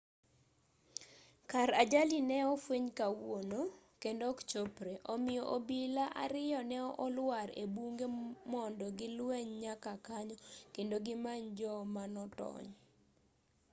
kar ajali ne ofweny kawuono kendo ok chopre omiyo obila ariyo ne oluar e bunge mondo gi lweny nyaka kanyo kendo gimany jo ma notony